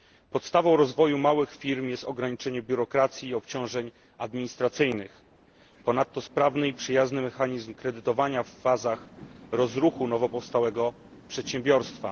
Podstawą rozwoju małych firm jest ograniczenie biurokracji i obciążeń administracyjnych, a ponadto sprawny i przyjazny mechanizm kredytowania w fazach rozruchu nowopowstałego przedsiębiorstwa.